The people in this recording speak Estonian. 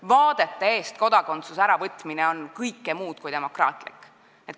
Vaadete eest kodakondsuse äravõtmine on kõike muud kui demokraatlik.